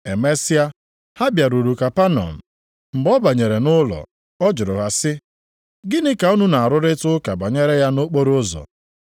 Emesịa, ha bịaruru Kapanọm. Mgbe ọ banyere nʼụlọ, ọ jụrụ ha sị, “Gịnị ka unu na-arụrịta ụka banyere ya nʼokporoụzọ?”